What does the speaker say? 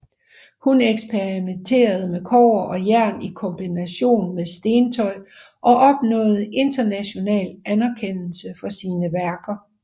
Hun eksperimenterede med kobber og jern i kombination med stentøj og opnåede international anerkendelse for sine værker